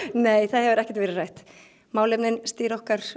nei það hefur ekkert verið rætt málefnin stýra okkar